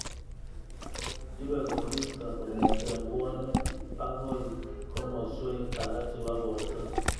Ibei koristo kongete bwonik akoi koamswek alak chebo borto